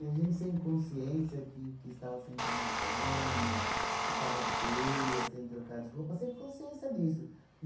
a gente sem consciência, que que estava sem tomar banho, que estava feia, sem trocar de roupa, sem consciência disso.